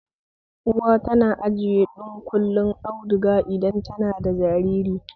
Uwa tana ajiye dunƙullen auduga idan tana da jariri